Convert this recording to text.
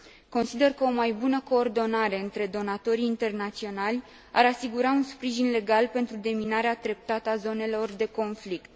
Consider că o mai bună coordonare între donatorii internaționali ar asigura un sprijin legal pentru deminarea treptată a zonelor de conflict.